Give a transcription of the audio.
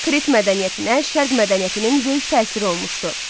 Krit mədəniyyətinə Şərq mədəniyyətinin böyük təsiri olmuşdu.